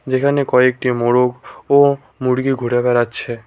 যেখানে কয়েকটি মোরগ ও মুরগি ঘুরে বেড়াচ্ছে।